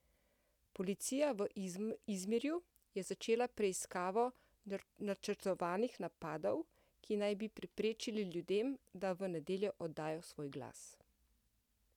Policija v Izmirju je začela preiskavo načrtovanih napadov, ki naj bi preprečili ljudem, da v nedeljo oddajo svoj glas.